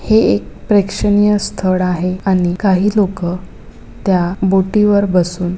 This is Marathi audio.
हे एक प्रेक्षणीय स्थळ आहे आणि काही लोकं त्या बोटी वर बसून--